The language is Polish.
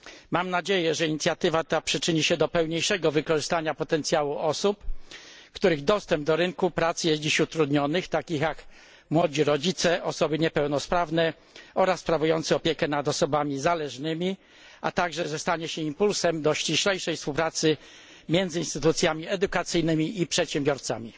Mam nadzieję, że inicjatywa ta przyczyni się do pełniejszego wykorzystywania potencjału osób, których dostęp do rynku pracy jest dziś utrudniony, takich jak młodzi rodzice, osoby niepełnosprawne oraz sprawujące opiekę nad osobami zależnymi, a ponadto, że inicjatywa ta stanie się impulsem do ściślejszej współpracy między instytucjami edukacyjnymi i przedsiębiorcami.